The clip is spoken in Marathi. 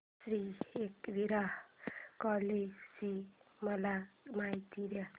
श्री एकविरा कार्ला ची मला माहिती दे